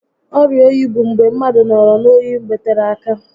Ọrịa oyi bụ mgbe mmadụ nọrọ n'oyi mgbe tere áká